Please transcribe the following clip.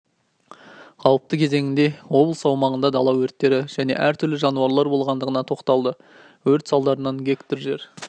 қауіпті кезеңінде облыс аумағында дала өрттері және әр-түрлі жанулар болғандығына тоқталды өрт салдарынан га жер